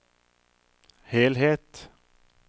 helhet